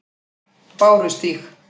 Bárustíg